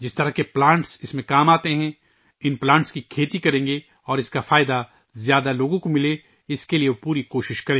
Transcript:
جس قسم کے پودے استعمال کئے جاتے ہیں ، وہ ان پودوں کی کاشت کریں گے اور وہ پوری کوشش کریں گے کہ زیادہ سے زیادہ لوگ اس سے مستفید ہوں